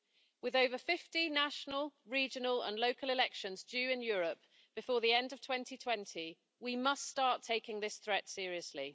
With over 50 national, regional and local elections due in Europe before the end of 2020, we must start taking this threat seriously.